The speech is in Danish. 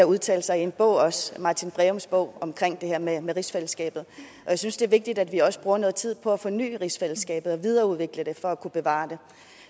udtalt sig i en bog martin breums bog om det her med med rigsfællesskabet jeg synes det er vigtigt at vi også bruger noget tid på at forny rigsfællesskabet og videreudvikle det for at kunne bevare det